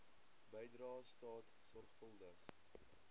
bydrae staat sorgvuldig